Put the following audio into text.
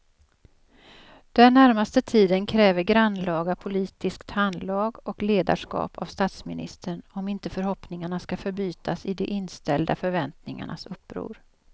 Den närmaste tiden kräver grannlaga politiskt handlag och ledarskap av statsministern om inte förhoppningarna ska förbytas i de inställda förväntningarnas uppror.